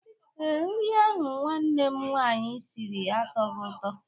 Ee, nri ahụ nwanne m nwaanyi siri atọhọ ụtọ.